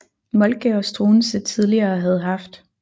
Moltke og Struensee tidligere havde haft